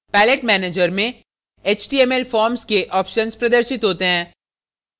palette manager में html forms के option प्रदर्शित होते हैं